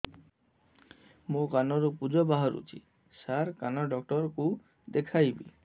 ମୋ କାନରୁ ପୁଜ ବାହାରୁଛି ସାର କାନ ଡକ୍ଟର କୁ ଦେଖାଇବି